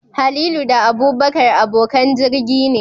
Halilu da Abubakar abokan jirgi ne